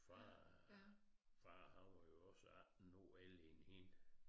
Far far han var jo også 18 år ældre end hende